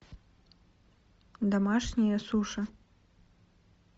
домашние суши